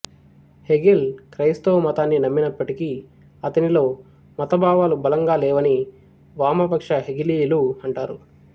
Hegel క్రైస్తవ మతాన్ని నమ్మినప్పటికీ అతనిలో మత భావాలు బలంగా లేవని వామపక్ష హెగెలీయులు అంటారు